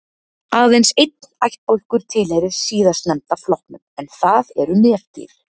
aðeins einn ættbálkur tilheyrir síðastnefnda flokknum en það eru nefdýr